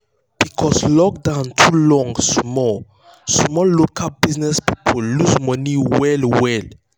because lockdown too long small small local business people lose money well well.